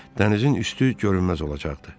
Dənizin üstü görünməz olacaqdı.